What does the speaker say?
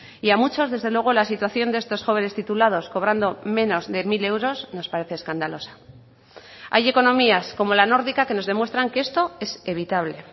y a muchos desde luego la situación de estos jóvenes titulados cobrando menos de mil euros nos parece escandalosa hay economías como la nórdica que nos demuestran que esto es evitable